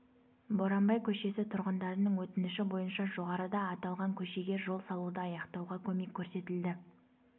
боранбай көшесі тұрғындарының өтініші бойынша жоғарыда аталған көшеге жол салуды аяқтауға көмек көрсетілді